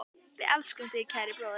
Við elskum þig, kæri bróðir.